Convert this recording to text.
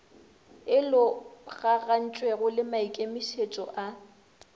e logagantšwego le maikemietšo a